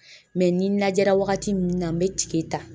ni najɛra wagati min na n be tige ta.